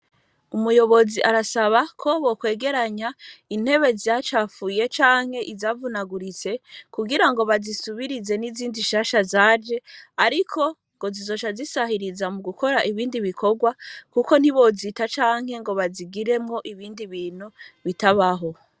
Umuyobozi arasaba ko bokwegeranya intebe zyacafuye canke izavunaguritse kugira ngo bazisubirize n'izindi shasha zaje, ariko ngo zizosha zisahiriza mu gukora ibindi bikorwa, kuko ntibozita canke ngo bazigiremwo ibindi bintu bitabaho.